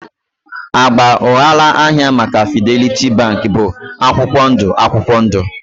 Agba ụghalaahịa maka Fidelity Bank bụ akwụkwọ ndụ akwụkwọ ndụ